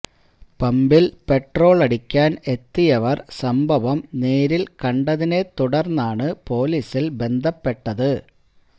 പമ്പില് petrol അടിക്കാന് എത്തിയവര് സംഭവം നേരില് കണ്ടതിനെ തുടര്ന്നാണ് പോലീസില് ബന്ധപ്പെട്ടത്